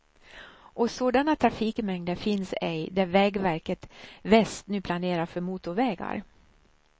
Och sådana trafikmängder finns ej där vägverket väst nu planerar för motorvägar.